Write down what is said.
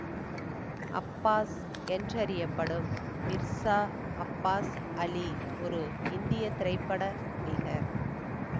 Abbas என்றறியப்படும் மிர்சா அப்பாஸ் அலி ஒரு இந்திய திரைப்பட நடிகர்